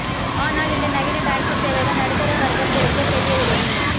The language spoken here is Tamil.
ஆனால் இந்த நவீன டாக்ஸி சேவைகள் நடுத்தரவர்க்கத்திற்குப் பெரிய உதவி